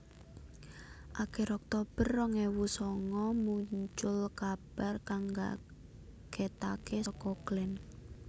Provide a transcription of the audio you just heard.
Akir Oktober rong ewu songo mucul kabar kang ngagetaké saka Glenn